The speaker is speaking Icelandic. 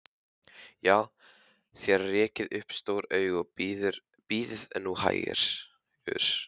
Já, þér rekið upp stór augu, en bíðið nú hægur.